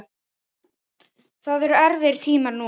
Það eru erfiðir tímar núna.